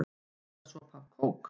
Eða sopa af kók?